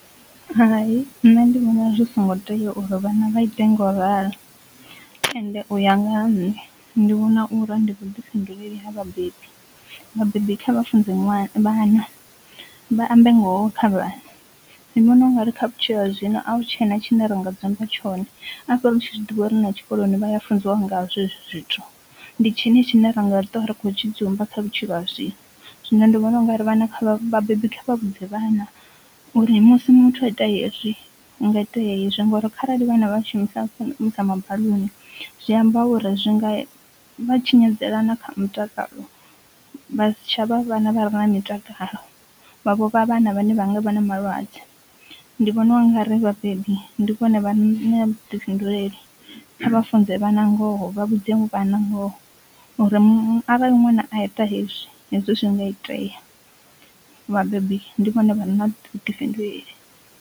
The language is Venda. Hai nṋe ndi vhona zwi songo tea uri vhana vha ite ngau ralo ende uya nga ha nṋe ndi vhona uri ndi vhuḓifhinduleli ha vhabebi vhabebi kha vhafunze ṅwana vhana vha ambe ngoho kha vhana, ndi vhona u nga ri kha vhutshilo ha zwino a hu tshena tshi ne ra nga dzumba tshone afho ri tshi zwiḓivha uri na tshikoloni vha ya funziwa ngazwo ezwi zwithu, ndi tshini tshine ra nga ṱuwa ri khou tshidzimba kha vhutshilo ha zwino. Zwino ndi vhona u nga ri vhana kha vhabebi vha vhudze vhana uri musi muthu a ite hezwi hu nga itea hezwi ngori kharali vhana vha shumisa mabaḽuni zwi amba uri zwi nga vha tshinyadzela na kha mitakalo vha si tshavha vhana vhare na mitakalo vha vho vha vhana vhane vha nga vha na malwadze, ndi vhona u nga ri vhabebi ndi vhona vha re na vhuḓifhinduleli kha vha funze vhana ngoho vha vhudze vhana ngoho uri arali ṅwana a ita hezwi hezwi zwi nga itea, vhabebi ndi vhone vha re na vhuḓifhinduleli.